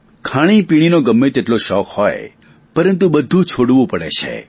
ખાણીપીણીનો ગમે તેટલો શોખ હોય પરંતુ બધું છોડવું પડે છે